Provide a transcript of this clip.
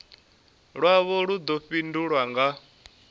lwavho lu ḓo fhindulwa nga